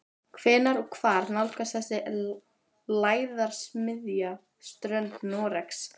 Hvenær og hvar nálgast þessi lægðarmiðja strönd Noregs?